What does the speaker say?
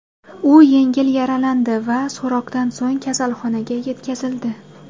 U yengil yaralandi va so‘roqdan so‘ng kasalxonaga yetkazildi.